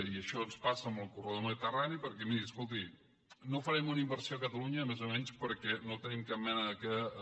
i això ens passa amb el corredor del mediterrani perquè miri escolti no farem una inversió a catalunya més o menys perquè no tenim cap mena de